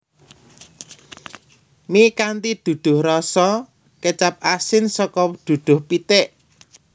Mi kanthi duduh rasa kecap asin saka duduh pitik